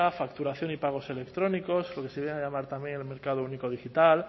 facturación y pagos electrónicos lo que se viene a llamar también el mercado único digital